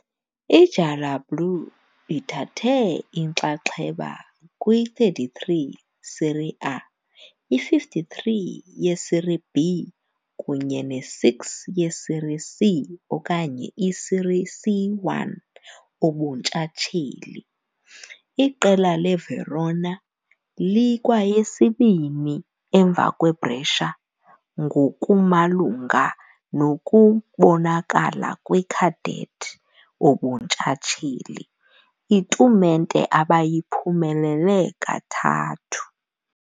I-gialloblù ithathe inxaxheba kwi-33 Serie A, i-53 ye-Serie B kunye ne-6 ye-Serie C okanye i-Serie C1 ubuntshatsheli, Iqela leVerona likwayesibini, emva kweBrescia, ngokumalunga nokubonakala kwi-cadet ubuntshatsheli, itumente abayiphumelele kathathu.